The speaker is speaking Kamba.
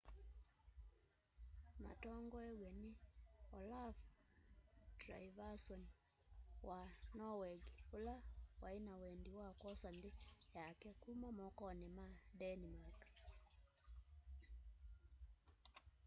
matongoiwe ni olaf trygvasson wa norweg ula waina wendi wa kwosa nthi yake kuma mokoni ma denmark